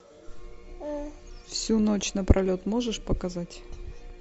всю ночь напролет можешь показать